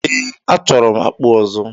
Ee, achọrọ m akpu ọzọ.